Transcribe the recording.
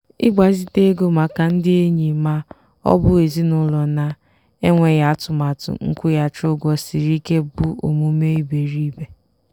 ịgbazite ego maka ndị enyi ma ọ bụ ezinụlọ na-enweghị atụmatụ nkwụghachi ụgwọ siri ike bụ omume iberiibe.